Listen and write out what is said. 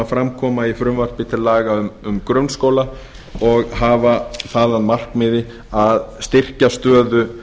fram koma í frumvarpi til laga um grunnskóla og hafa það að markmiði að styrkja stöðu